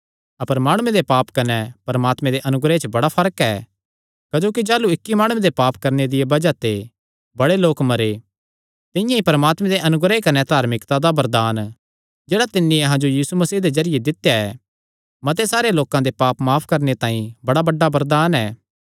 अपर माणुये दे पाप कने परमात्मे दे अनुग्रह च बड़ा फर्क ऐ क्जोकि जाह़लू इक्की माणुये दे पाप करणे दिया बज़ाह ते बड़े लोक मरे तिंआं ई परमात्मे दे अनुग्रह कने धार्मिकता दा वरदान जेह्ड़ा तिन्नी अहां जो यीशु मसीह दे जरिये दित्या ऐ मते सारे लोकां दे पाप माफ करणे तांई बड़ा बड्डा वरदान ऐ